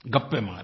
गप्पें मारें